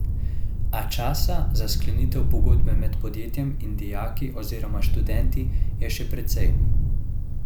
A časa za sklenitev pogodbe med podjetjem in dijaki oziroma študenti je še precej.